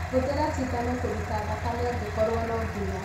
Hũthĩra cindano kũruta thakane angĩkorwo no nginya